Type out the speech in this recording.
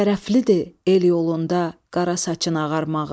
Şərəflidir el yolunda qara saçın ağarmağı.